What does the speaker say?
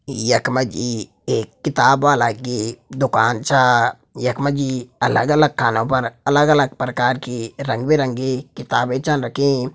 यक मजी एक किताब वाला गी दुकान छा। यक मजी अलग अलग खानो पर अलग अलग प्रकार की रंगी बिरंगी किताबें चन रखीं।